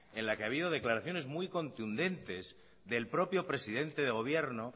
en la que ha habido declaraciones muy contundentes del propio presidente de gobierno